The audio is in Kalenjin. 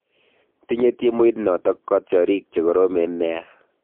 Tinye timuit noto katyarik che karoronen nea